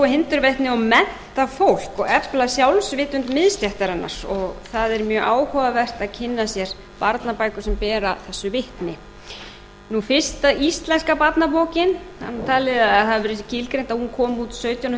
hindurvitni og mennta fólk og efla sjálfsvitund miðstéttarinnar það er mjög áhugavert að kynna sér barnabækur sem bera þessu vitni fyrsta íslenska barnabókin það er talið að það hafi verið skilgreint að hún kom út árið sautján